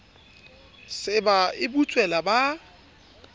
se ba e butswela ba